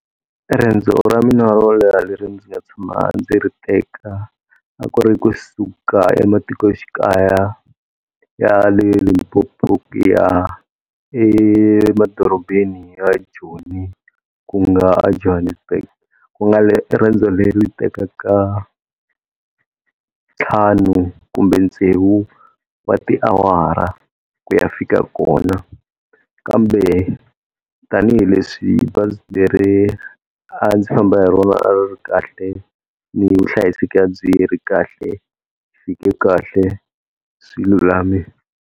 Riendzo ra mina ro leha leri ndzi nga tshama ndzi ri teka, a ku ri kusuka ematikoxikaya ya le Limpopo ya emadorobeni ya Joni ku nga aJohannesburg. Ku nga le riendzo leri tekaka ntlhanu kumbe tsevu wa tiawara ku ya fika kona. Kambe tanihileswi leri a ndzi famba hi rona a ri kahle ni vuhlayiseki a byi ri kahle, ni fike kahle swi lulamile.